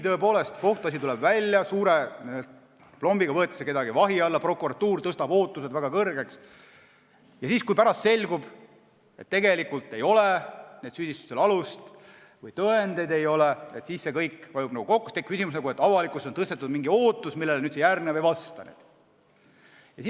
Tuleb kohtuasi, suure aplombiga võetakse keegi vahi alla, prokuratuur tõstab ootused väga kõrgeks, aga kui pärast selgub, et tegelikult ei olnud nendel süüdistustel alust või tõendeid ei ole, siis see kõik vajub nagu kokku ja tekib küsimus, et avalikkuses on tekitatud mingi ootus, millele järgnev ei vasta.